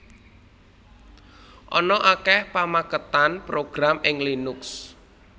Ana akèh pamakètan program ing Linux